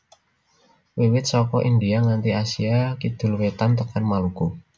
Wiwit saka India nganti Asia Kidul Wétan tekan Maluku